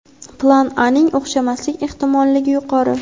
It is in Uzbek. plan A ning o‘xshamaslik ehtimolligi yuqori.